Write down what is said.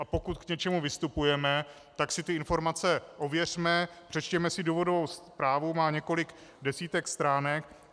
A pokud k něčemu vystupujeme, tak si ty informace ověřme, přečtěme si důvodovou zprávu, má několik desítek stránek.